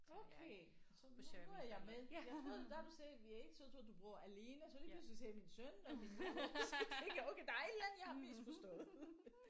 Okay så nu nu er jeg med jeg troede da du sagde vi er ikke så troede jeg du boede alene så lige pludselig så sagde du min søn og min mand og så tænkte jeg okay der er et eller andet jeg har misforstået